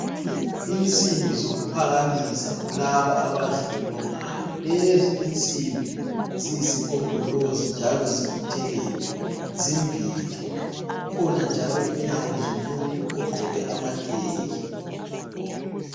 Insimbi zokuphakamisa kulabo abazilolongayo, lezi insimbi ziyisigombolozi njalo zibuthelelwe zimbili. Kukhona njalo inyawo zomuntu ogqoke amateki.